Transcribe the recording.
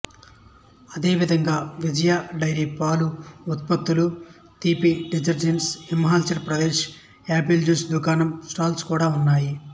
అదేవిధంగా విజయ డెయిరీ పాలు ఉత్పత్తులు తీపి desserts Himachal Pradesh apple juice దుకాణం స్టాల్స్ కూడా ఉన్నాయి